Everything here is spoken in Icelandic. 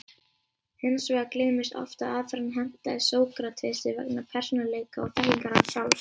Hins vegar gleymist oft að aðferðin hentaði Sókratesi vegna persónuleika og þekkingar hans sjálfs.